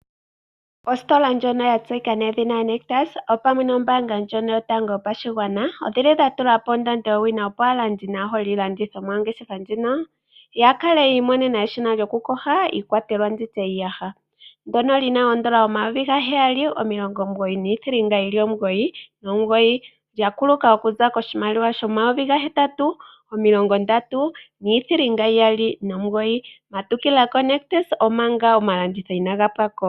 Ositola ndjono ya tseyika nedhina Nictus opamwe nombaanga ndjono yotango yopashigwana oyi li ya tula po ondando yowina, opo aalandi naaholi yiilandithomwa yongeshefa ndjino ya kale yi imonene eshina lyokuyoga iikwatelwa ndi tye iiyaha, ndyono li na N$ 7 999, lya kuluka okuza koshimaliwa N$ 8 329. Matukila koNIctus, omanga ofanditha inaayi hula.